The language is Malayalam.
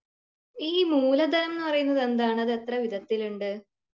ഈ മൂലധനം എന്ന് പറയുന്നത് എന്താണ് അത് എത്ര വിധത്തിലുണ്ട്